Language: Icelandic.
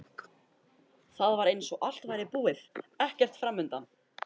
Það var eins og allt væri búið, ekkert framundan.